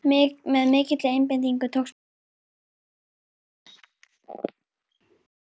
Með mikilli einbeitingu tókst mér að hringja á leigubíl.